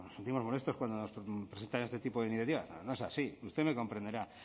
o nos sentimos molestos cuando nos presentan este tipo de iniciativas no es así usted me comprenderá